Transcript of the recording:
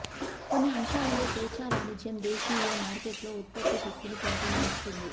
కొన్ని అంశాలలో స్వేచ్ఛా వాణిజ్యం దేశీయ మార్కెట్లో ఉత్పత్తి శక్తిని పెంపొందిస్తుంది